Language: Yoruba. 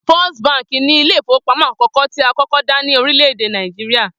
First Bank ni ilé ìfowópamó̩ àkó̩kó̩ tí a kọ́kọ́ dá ní orílè̩-èdè Nàìjíríà